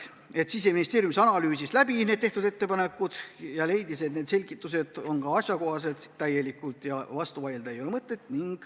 Siseministeerium analüüsis tehtud ettepanekud läbi ja leidis, et selgitused on täiesti asjakohased ja vastu vaielda ei ole mõtet.